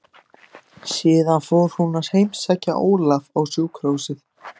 Síðan fór hún að heimsækja Ólaf á sjúkrahúsið.